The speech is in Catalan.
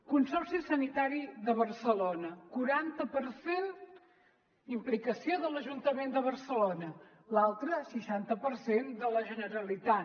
consorci sanitari de barcelona quaranta per cent implicació de l’ajuntament de barcelona l’altre seixanta per cent de la generalitat